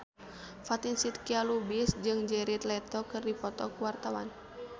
Fatin Shidqia Lubis jeung Jared Leto keur dipoto ku wartawan